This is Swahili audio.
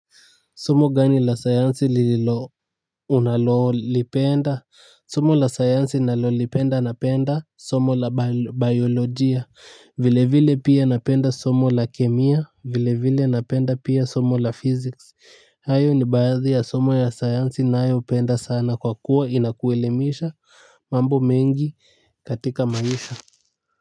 Somo gani la sayansi unalolipenda. Somo la sayansi nalolipenda napenda somo la biolojia. Vile vile pia napenda somo la kemia vile vile napenda pia somo la physics. Hayo ni baadhi ya somo ya sayansi nayo penda sana kwa kuwa inakuelemisha. Mambo mengi katika maisha.